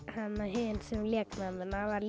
hin sem lék mömmuna var